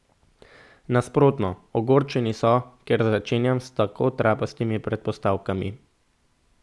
Nasprotno, ogorčeni so, ker začenjam s tako trapastimi predpostavkami.